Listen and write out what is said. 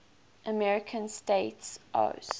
american states oas